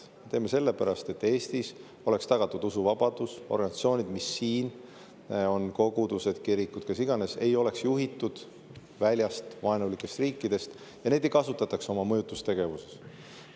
Me teeme sellepärast, et Eestis oleks tagatud usuvabadus, et organisatsioonid, mis siin on – kogudused, kirikud, kes iganes –, ei oleks juhitud väljast, vaenulikest riikidest ja neid ei kasutataks oma mõjutustegevuses.